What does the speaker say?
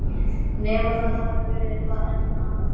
Nema það hafi verið eitthvað enn annað.